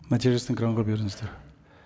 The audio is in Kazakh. нәтижесін экранға беріңіздер